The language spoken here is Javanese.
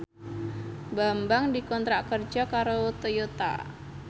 Bambang dikontrak kerja karo Toyota